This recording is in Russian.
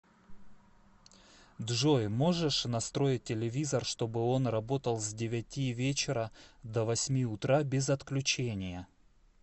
джой можешь настроить телевизор чтобы он работал с девяти вечера до восьми утра без отключения